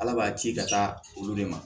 Ala b'a ki ka taa olu de ma